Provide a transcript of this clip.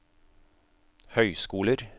høyskoler